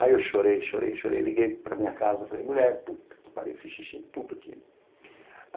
Aí eu chorei, chorei, chorei, liguei para minha casa, falei, mulher, puta que pariu, fiz xixi em tudo aqui.